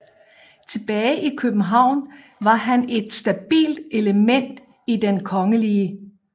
Tilbage i København var han et stabilt element i Den Kgl